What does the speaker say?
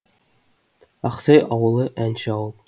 ақсай ауылы әнші ауыл